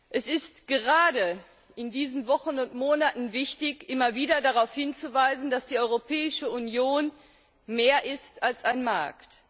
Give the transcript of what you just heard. Es ist gerade in diesen Wochen und Monaten wichtig, immer wieder darauf hinzuweisen, dass die Europäische Union mehr ist als ein Markt.